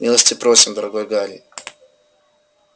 милости просим дорогой гарри